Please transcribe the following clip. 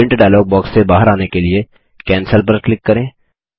print dialog box से बाहर आने के लिए कैंसेल पर क्लिक करें